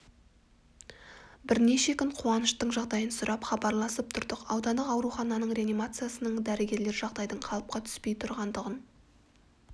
бірнеше күн қуаныштың жағдайын сұрап хабарласып тұрдық аудандық аурухананың реанимациясының дәрігерлері жағдайдың қалыпқа түспей тұрғандығын